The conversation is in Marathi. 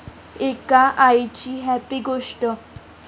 एका आईची 'हॅपी' गोष्ट!